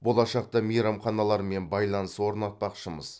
болашақта мейрамханалармен байланыс орнатпақшымыз